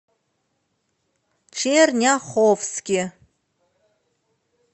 черняховске